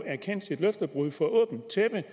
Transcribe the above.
erkendt sit løftebrud for åbent tæppe